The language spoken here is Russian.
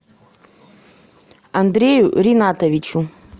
андрею ринатовичу